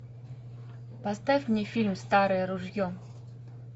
поставь мне фильм старое ружье